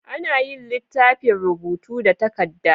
Anayin litafin rubuta da takadda